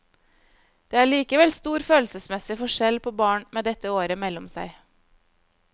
Det er likevel stor følelsesmessig forskjell på barn med dette året mellom seg.